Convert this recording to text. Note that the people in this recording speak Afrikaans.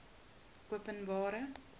openbare